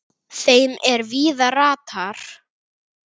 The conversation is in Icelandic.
þeim er víða ratar